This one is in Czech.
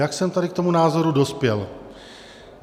Jak jsem tady k tomu názoru dospěl?